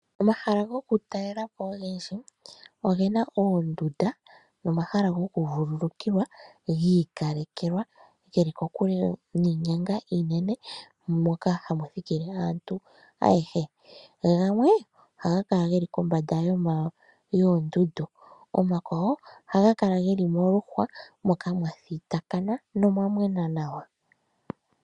Omahala go ku talela po ogendji oge na oondunda nomahala go ku vululukiwa giikalekelwa ge li kokule niinyanga iinene moka hamuthikile aantu ayehe, gamwe oha ga kala ge li kombanda yoondundu, omakwawo oha ga kala ge li moluhwa moka mwathitakana nomwa mwena nawa.